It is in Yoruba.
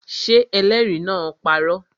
Ṣé ẹlẹ́rìí náà parọ́?